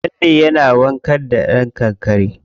Lalle yana warka da kankare.